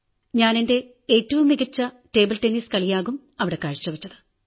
ഞാൻ എന്റെ ഏറ്റവും മികച്ച ടേബിൾ ടെന്നീസ് കളിയാകും അവിടെ കാഴ്ചവച്ചത്